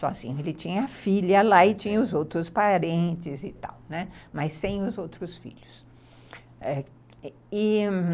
Sozinho, ele tinha filha lá e tinha os outros parentes e tal, mas sem os outros filhos, e...